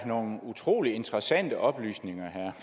var nogle utrolig interessante oplysninger herre